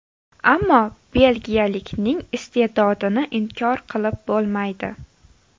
Ammo belgiyalikning ist’edodini inkor qilib bo‘lmaydi.